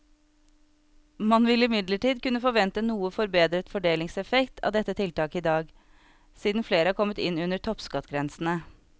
Man vil imidlertid kunne forvente noe forbedret fordelingseffekt av dette tiltaket i dag, siden flere er kommet inn under toppskattgrensene.